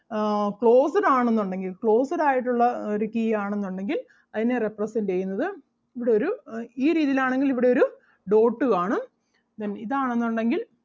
ആഹ് closed ആണെന്നുണ്ടെങ്കിൽ closed ആയിട്ടുള്ള ഒരു key ആണെന്നുണ്ടെങ്കിൽ അതിനെ represent ചെയ്യുന്നത് ഇവിടൊരു അഹ് ഈ രീതിയിൽ ആണെങ്കിൽ ഇവിടൊരു dot കാണും then ഇതാണെന്നുണ്ടെങ്കിൽ